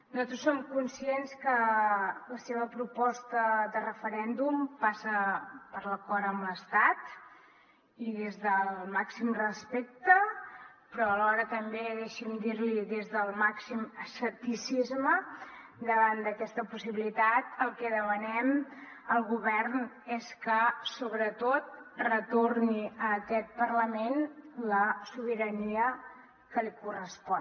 nosaltres som conscients que la seva proposta de referèndum passa per l’acord amb l’estat i des del màxim respecte però alhora també deixi’m dir l’hi des del màxim escepticisme davant d’aquesta possibilitat el que demanem al govern és que sobretot retorni a aquest parlament la sobirania que li correspon